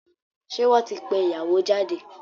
Ṣé wọ́n ti pé ìyàwó jáde?